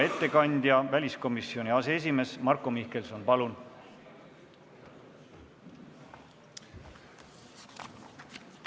Ettekandja väliskomisjoni aseesimees Marko Mihkelson, palun!